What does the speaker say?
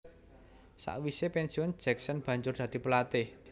Sakwise pensiun Jackson banjur dadi pelatih